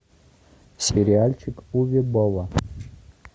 сериальчик уве болла